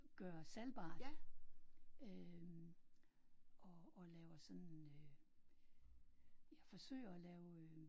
Gøre salgbart øh og og laver sådan øh jeg forsøger at lave øh